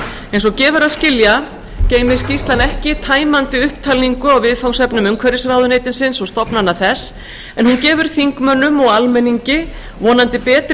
eins og gefur að skilja geymir skýrslan ekki tæmandi upptalningu á viðfangsefnum umhverfisráðuneytisins og stofnana þess en hún gefur þingmönnum og almenningi vonandi betri